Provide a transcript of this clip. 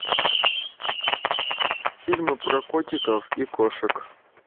фильмы про котиков и кошек